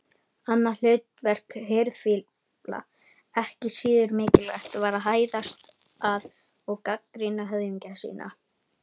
Annað hlutverk hirðfífla, ekki síður mikilvægt, var að hæðast að og gagnrýna höfðingja sína.